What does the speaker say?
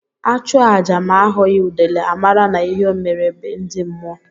A chụọ aja ma a hụghi udele, a mara na ihe mere be ndi mmụọ.